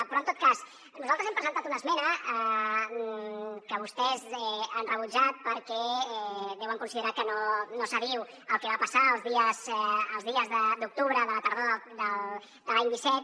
però en tot cas nosaltres hem presentat una esmena que vostès han rebutjat perquè deuen considerar que no s’adiu al que va passar els dies d’octubre de la tardor de l’any disset